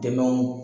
Dɛmɛw